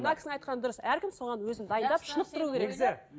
мына кісінің айтқаны дұрыс әркім соған өзін дайындап шынықтыру керек